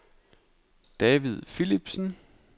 David Philipsen